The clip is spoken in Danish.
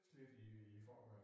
Slidt i i forvejen